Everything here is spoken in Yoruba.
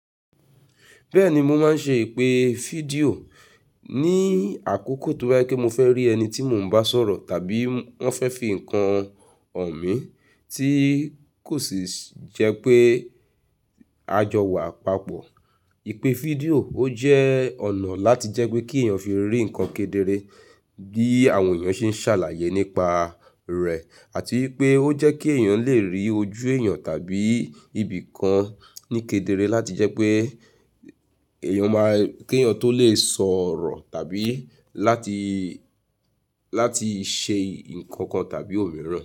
Bẹ́ẹ̀ni, mo máa ń ṣe ìpè fídíò. Ni àkókò tó bá jẹ́ pé mo fẹ́ rí ẹni tí mo ń bá sọ̀rọ̀ tàbí wọ́n fẹ́ fi ǹkan hàn mí tí kò sì jẹ́ pé a jọ wà papọ̀. Ìpè fídíò ó jẹ́ ọ̀nà láti jẹ́ pé kí èèyàn fi rí ǹkan kedere bí àwọn èèyàn ṣe ń ṣàlàyé nípa rẹ̀ àti wípé ó jẹ́ kí èèyàn lè rí ojú èèyàn tàbí ibìkan ní kedere láti jẹ́ pé èèyàn máa-- kí èèyàn tó lè sọ̀rọ̀ tàbí láti, láti ṣe ǹkan kan tàbí òmíràn.